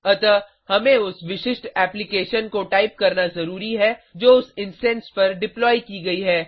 अतः हमें उस विशिष्ट एप्लीकेशन को टाइप करना ज़रूरी है जो उस इंस्टैंस पर डिप्लॉय की गयी है